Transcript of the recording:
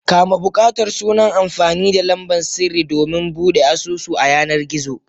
Kama bukatar sunan amfani da lamban sirri domin Bude asusu a yanar gizo.